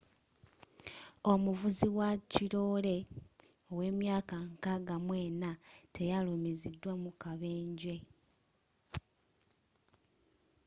omuvuzi wakirole owemyaka 64 teyalumizidwa mukabenje